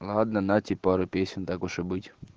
ладно на тебе пару песен так уж и быть